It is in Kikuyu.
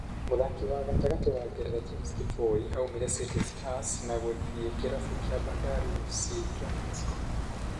Mũthaki wa gatagati wa Ngeretha , James Kiboi, aumire City Stars na gũthie kĩrabu kĩa Bandari FC kĩa Mexico